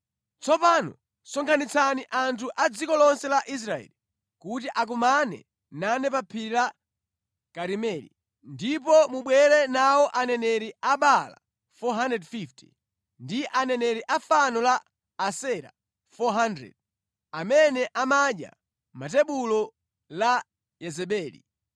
Tsopano sonkhanitsani anthu a mʼdziko lonse la Israeli kuti akumane nane pa Phiri la Karimeli. Ndipo mubwere nawo aneneri a Baala 450 ndi aneneri a fano la Asera 400, amene amadya pa tebulo la Yezebeli.”